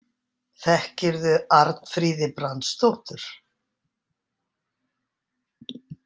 Þekkirðu Arnfríði Brandsdóttur?